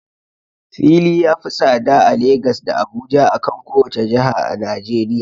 Fili ya fi tsada a Lagas da Abuja, akan kowace jiha a najeriya.